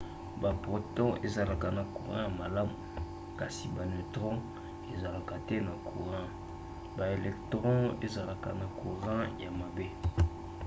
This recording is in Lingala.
baproton ezalaka na courant ya malamu kasi ba neutron ezalaka te na courant. baelectron ezalaka na courant ya mabe